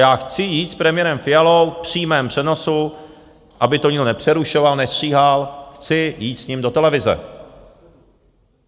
Já chci jít s premiérem Fialou v přímém přenosu, aby to nikdo nepřerušoval, nestříhal, chci jít s ním do televize.